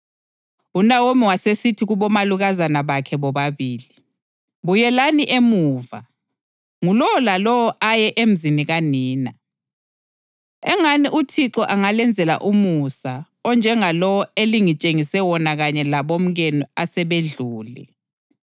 UNawomi wasesithi kubomalukazana bakhe bobabili, “Buyelani emuva, ngulowo lalowo aye emzini kanina. Engani uThixo angalenzela umusa onjengalowo elingitshengise wona kanye labomkenu asebedlule.